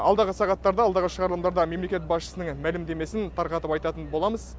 алдағы сағаттарда алдағы шығарылымдарда мемлекет басшысының мәлімдемесін тарқатып айтатын боламыз